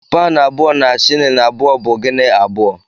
Paụnụ abụọ na shịlịn abụọ bụ Gini abụọ.